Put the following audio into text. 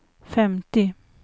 femtio